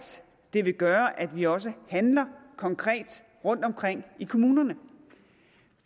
det vil gøre at vi også handler konkret rundtomkring i kommunerne